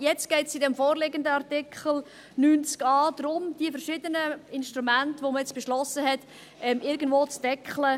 Nun geht es in diesem vorliegenden Artikel 90a darum, diese verschiedenen Instrumente, die man beschlossen hat, irgendwo zu beschränken.